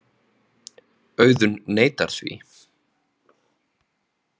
Auðunn neitar því.